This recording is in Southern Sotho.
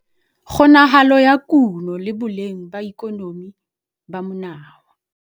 Kgonahalo ya kuno le boleng ba ikonomi ba monawa.